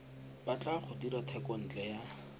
batla go dira thekontle ya